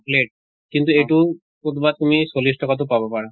plate কিন্তু এইটো কতোবা তুমি চল্লিছ টকাতো পাব পাৰা।